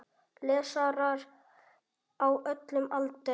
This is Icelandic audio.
Lesarar á öllum aldri.